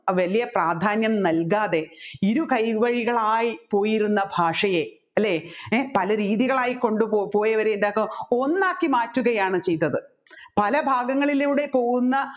വലിയ പ്രാധാന്യം നൽകാതെ ഇരുകൈവഴികളായി പോയിരുന്ന ഭാഷയെ അല്ലെ പലരീതികളായി കൊണ്ടുപോയവരെ ഒന്നാക്കിമാറ്റുകയാണ് ചെയ്തത് പല ഭാഗങ്ങളിലൂടെ പോവുന്ന